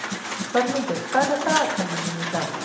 Þormundur, hvað er á dagatalinu mínu í dag?